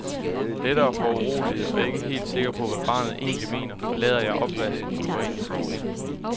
Lettere foruroliget og ikke helt sikker på, hvad barnet egentlig mener, forlader jeg opvasken og går ind i stuen.